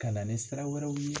Ka na ni sira wɛrɛw ye.